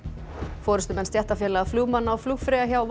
forystumenn stéttarfélaga flugmanna og flugfreyja hjá